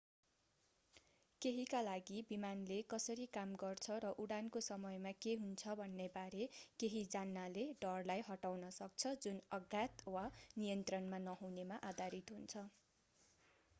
केहीका लागि विमानले कसरी काम गर्छ र उडानको समयमा के हुन्छ भन्ने बारेमा केही जान्नाले डरलाई हटाउन सक्छ जुन अज्ञात वा नियन्त्रणमा नहुनेमा आधारित हुन्छ